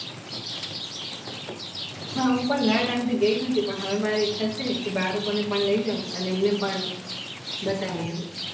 હુ પણ ઘણા ટાઇમ થી ગઇ નથી પન હવે મને ઇચ્છા છે કે બાડકો ને પન લઇ જાવ અને એમને પણ બતાવી આવુ